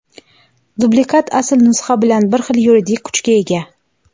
Dublikat asl nusxa bilan bir xil yuridik kuchga ega.